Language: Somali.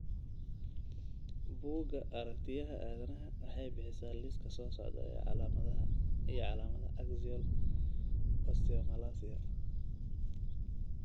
Bugga Aragtiyaha Aanadanaha waxay bixisaa liiska soo socda ee calaamadaha iyo calaamadaha Axial osteomalacia.